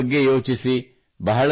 ಮಕ್ಕಳ ಬಗ್ಗೆ ಯೋಚಿಸಿ